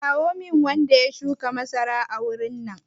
Kirawo min wanda ya shuka masara a wurin nan!